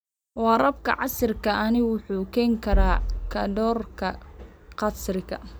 Waraabka casriga ahi wuxuu keeni karaa korodhka kharashka.